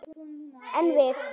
En við!